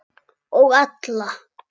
Og alla.